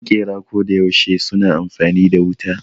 Maƙera koda yaushe suna amfani da wuta